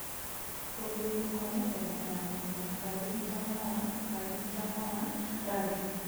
Gũthuurwo kwa mĩthemba ya mũhĩa KARI Mtama-1 KARI Mtama-1 Rangi: